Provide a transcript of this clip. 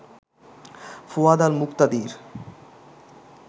Fuad Al Muktadir